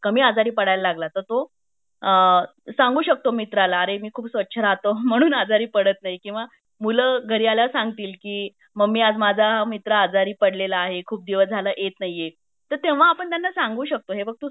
कामी आजारी पडायला लागला तेव्हा तो सांगू शकतो मित्राला आर मी खूप स्वच्छ राहतो म्हणून आजारी पडत नही किंवा मुलं घरी आल्यावर सांगतील की मम्मी आज माझा मित्र आजारी पडलेला आहे खूप दिवस झाले येत नाहीये तर तेव्हा आपण त्यांना सांगू शकतो हे बघ तू